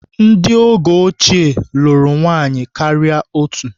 Ndị oge ochie lụrụ nwaanyị karịa otú.